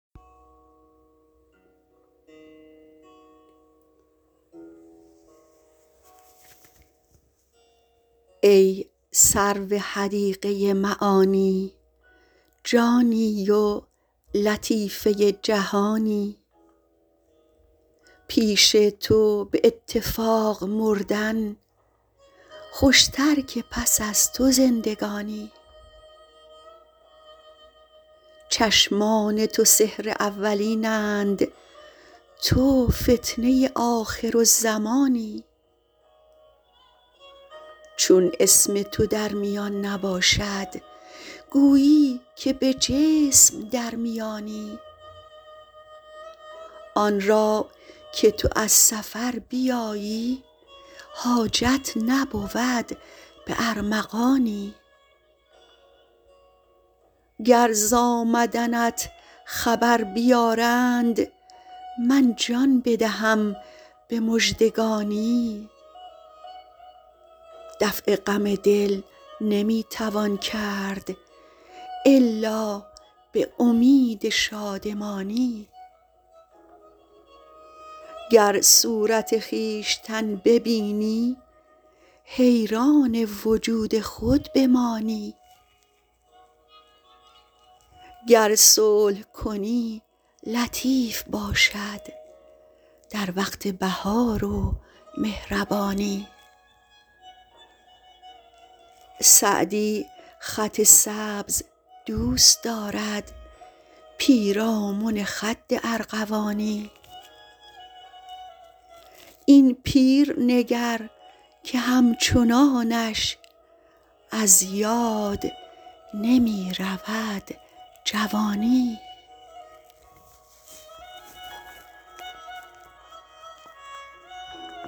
ای سرو حدیقه معانی جانی و لطیفه جهانی پیش تو به اتفاق مردن خوشتر که پس از تو زندگانی چشمان تو سحر اولین اند تو فتنه آخرالزمانی چون اسم تو در میان نباشد گویی که به جسم در میانی آن را که تو از سفر بیایی حاجت نبود به ارمغانی گر ز آمدنت خبر بیارند من جان بدهم به مژدگانی دفع غم دل نمی توان کرد الا به امید شادمانی گر صورت خویشتن ببینی حیران وجود خود بمانی گر صلح کنی لطیف باشد در وقت بهار و مهربانی سعدی خط سبز دوست دارد پیرامن خد ارغوانی این پیر نگر که همچنانش از یاد نمی رود جوانی